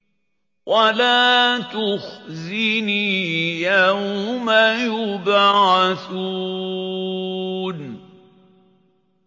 وَلَا تُخْزِنِي يَوْمَ يُبْعَثُونَ